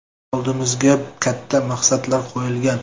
Oldimizga katta maqsadlar qo‘yilgan.